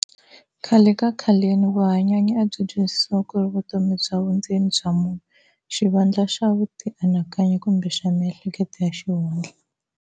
Khale ka khaleni vuhanyanyi a byi twisisiwa kuri"vutomi bya vundzeni bya munhu", xivandla xa vuti anakanyi, kumbe xa mihleketo ya xihundla.